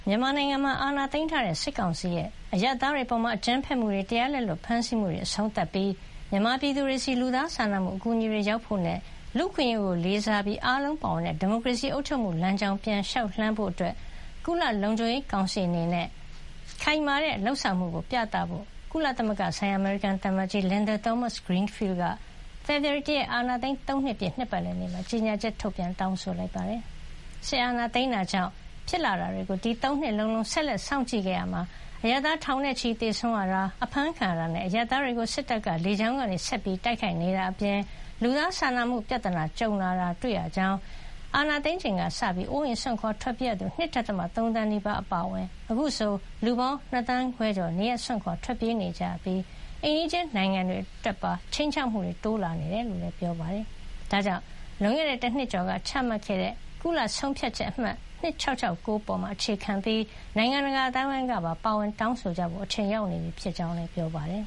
မြန်မာနိုင်ငံမှာ အာဏာသိမ်းထားတဲ့ စစ်ကောင်စီရဲ့ အရပ်သားတွေအပေါ် အကြမ်းဖက်မှုတွေ၊ တရားလက်လွတ်ဖမ်းဆီးမှုတွေ အဆုံးသတ်ပြီး မြန်မာပြည်သူတွေဆီ လူသားစာနာမှု အကူအညီတွေရောက်ဖို့နဲ့ လူ့အခွင့်အရေးကိုလေးစားပြီး အားလုံးပါဝင်တဲ့ ဒီမိုကရေစီအုပ်ချုပ်မှု လမ်းကြောင်းကို ပြန်လည်လျှောက်လှမ်းဖို့ ကုလသမဂ္ဂလုံခြုံရေးကောင်စီအနေနဲ့ ခိုင်မာတဲ့ လုပ်ဆောင်မှုကိုပြသဖို့ ကုလသမဂ္ဂဆိုင်ရာ အမေရိကန်သံအမတ်ကြီး Linda Thomas-Greenfield က ဖေဖေါ်ဝါရီ ၁ ရက် အာဏာသိမ်း ၃ နှစ်ပြည့် နှစ်ပတ်လည်နေ့မှာ ကြေညာချက် ထုတ်ပြန်တောင်းဆိုလိုက်ပါတယ်။ စစ်အာဏာသိမ်းတာကြောင့် ဖြစ်လာတာတွေကို ဒီ ၃ နှစ်လုံးလုံး ဆက်လက်စောင့်ကြည့်ခဲ့ရာမှာ အရပ်သား ထောင်နဲ့ချီပြီး သေဆုံးရတာ၊ အဖမ်းခံရတာနဲ့ အရပ်သားတွေကို စစ်တပ်က လေကြောင်းကနေ ဆက်ပြီးတိုက်ခိုက်နေတာ အပြင် လူသားစာနာမှု ပြဿနာကြုံလာတာ တွေ့ရကြောင်း၊ အာဏာသိမ်းချိန်ကစလို့ အိုးအိမ်စွန့်ခွါထွက်ပြေးရသူ ၂.၃ သန်းနီးပါးအပါအဝင် အခုဆို လူပေါင်း ၂ သန်းခွဲကျော် နေရပ်စွန့်ခွါ ထွက်ပြေး ကြရပြီး အိမ်နီးချင်းနိုင်ငံတွေအတွက်ပါ ခြိမ်းခြောက်မှုတွေ တိုးလာနေတာ တွေ့ရတယ်လို့လည်း ပြောပါတယ်။ ဒါကြောင့် လွန်ခဲ့တဲ့ တနှစ်ကျော်က ချမှတ်ခဲ့တဲ့ ကုလဆုံးဖြတ်ချက် အမှတ် ၂၆၆၉ ပေါ် အခြေခံပြီး နိုင်ငံတကာအသိုင်းအဝိုင်းကပါ ပါဝင်တောင်းဆိုကြဖို့ အချိန်ရောက်နေပြီ ဖြစ်ကြောင်းလည်း ပြောပါတယ်